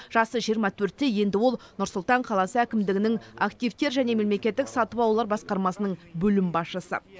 жасы жиырма төртте енді ол нұр сұлтан қаласы әкімдігінің активтер және мемлекеттік сатып алулар басқармасының бөлім басшысы